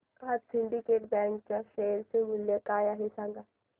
आज Syndicate Bank च्या share चे मूल्य काय आहे हे सांगा